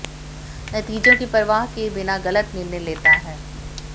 नतीजों की परवाह किए बिना गलत निर्णय लेता है